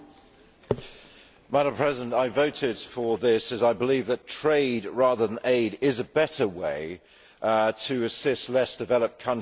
Madam President, I voted for this as I believe that trade, rather than aid, is a better way to assist less developed countries to prosper.